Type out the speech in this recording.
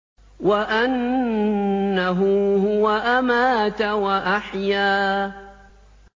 وَأَنَّهُ هُوَ أَمَاتَ وَأَحْيَا